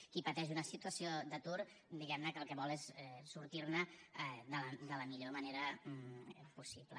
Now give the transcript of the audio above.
qui pateix una situació d’atur diguemne el que vol és sortirne de la millor manera possible